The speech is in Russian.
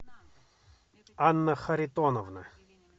анна харитоновна